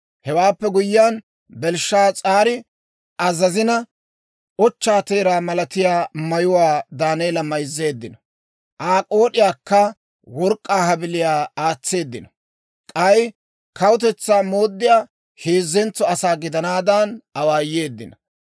Hewaappe guyyiyaan, Belshshaas'aari azazina, ochchaa teeraa malatiyaa mayuwaa Daaneela mayzzeeddino; Aa k'ood'iyankka work'k'aa habiliyaa aatseeddino; k'ay kawutetsaa mooddiyaa heezzentso asaa gidanaadan awaayeeddino.